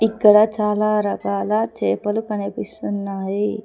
ఇక్కడ చాలా రకాల చేపలు కనిపిస్తున్నాయి.